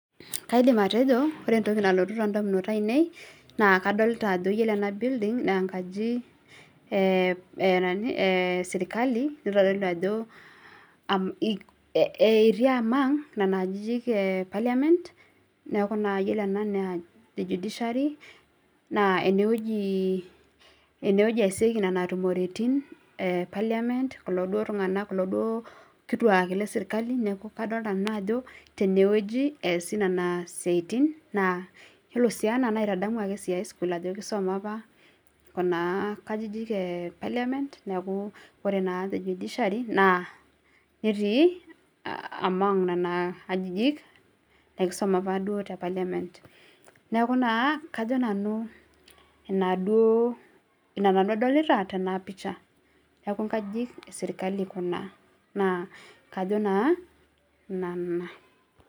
Kaidim atejo ore entoki nadolita tene naa ore enaji naa enkaji esirkali neitodoli ajo ketii esiana oonkajijik epaliamen naa ene wueji eesieki nena tumoritin e paliamen naa kadolita ajo ore sii ene naa kaitadamu high school kisuma apa kuna kajijik epaliamen niaku ore naa te judiciary naa ketii esiana nena kajijik nekisuma opa duo Kajo nanu ina duo adolita tena pisha Niaku ngajijik esirkali kuna niaku kajo naa nena